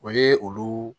O ye olu